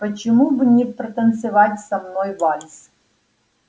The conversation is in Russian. почему бы не протанцевать со мной вальс